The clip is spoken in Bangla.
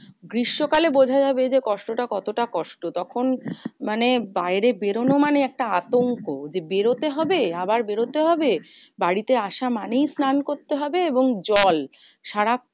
গ্রীষ্মকালে বোঝা যাবে যে, কষ্টটা কতটা কষ্ট? তখন মানে বাইরে বেরোনো মানে একটা আতঙ্ক যে, বেরোতে হবে আবার বেরোতে হবে? বাড়িতে আসা মানেই স্নান করতে হবে এবং জল সারা~